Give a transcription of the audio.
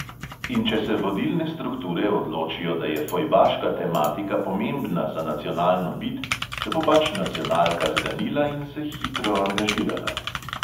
In če se vodilne strukture odločijo, da je fojbaška tematika pomembna za nacionalno bit, se bo pač nacionalka zganila in se hitro angažirala.